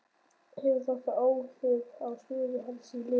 En hefur þetta áhrif á stöðu hans í liðinu?